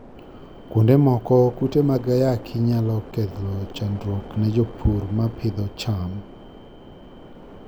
Kuonde moko, kute mag ayaki nyalo kelo chandruok ne jopur ma pidho cham.